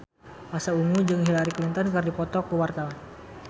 Pasha Ungu jeung Hillary Clinton keur dipoto ku wartawan